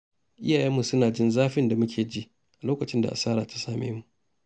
Iyayenmu suna jin zafin da muke ji a lokacin da asara ta same mu.